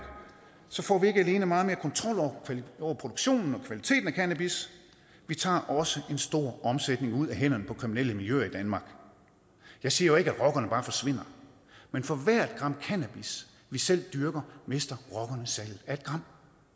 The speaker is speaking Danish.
får vi ikke alene meget mere kontrol over produktionen og kvaliteten af cannabis vi tager også en stor omsætning ud af hænderne på kriminelle miljøer i danmark jeg siger jo ikke at rockerne bare forsvinder men for hvert gram cannabis vi selv dyrker mister rockerne salget af et gram